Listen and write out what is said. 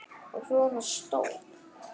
Og svona stór!